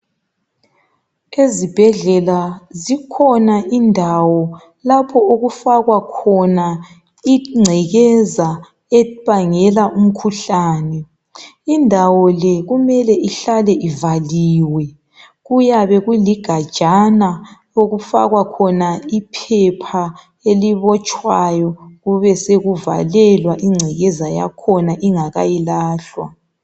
ezibhedlela zikhona indawo lapho okufakwa khona incekeza ebangela umkhuhlane indawo le kumele ihlale ivaliwe kuyabe kuligajana okufakwa khona iphepha elibotshwayo kube sekuvalelwa incekeza yakhona ingakayilahlwa